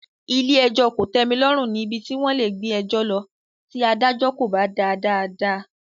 Ilé-ẹjọ kò tẹmi lọ́rùn ní ibi tí wón lè gbé ẹjọ lọ tí adájọ́ kò bá dá a dáadáa.